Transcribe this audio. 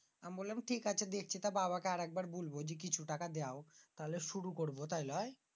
আমি বললাম ঠিক আছে দেখি। তা বাবাকে আর একবার বলব দেখি কিছু টাকা দেও শুরু করব তাই লয়?